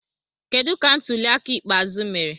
Kedu ka ntuli aka ikpeazụ mere?